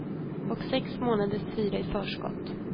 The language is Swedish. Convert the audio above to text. Och sex månaders hyra i förskott.